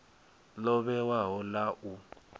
ḽo vhewaho ḽ a u